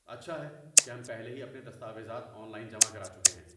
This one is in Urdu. اچھا ہے کہ ہم پہلے ہی اپنے دستاویزات آن لائن جمع کرا چکے ہیں۔